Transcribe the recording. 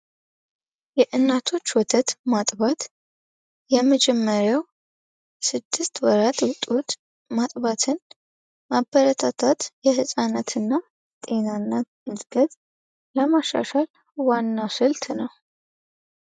የእናቶች ወተት ማጥባት የመጀመሪያው ስድስት ወራት ማጥባትን ማበረታታት የህፃናትና ጤናና ለማሻሻል ዋናው ስልት ነው።